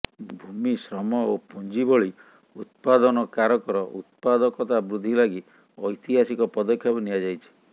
ଭୂମି ଶ୍ରମ ଓ ପୁଞ୍ଜି ଭଳି ଉତ୍ପାଦନ କାରକର ଉତ୍ପାଦକତା ବୃଦ୍ଧି ଲାଗି ଐତିହାସିକ ପଦକ୍ଷେପ ନିଆଯାଇଛି